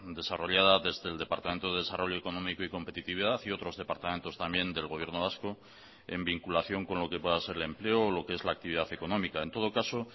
desarrollada desde el departamento de desarrollo económico y competitividad y otros departamentos también del gobierno vasco en vinculación con lo que pueda ser el empleo o lo que es la actividad económica en todo caso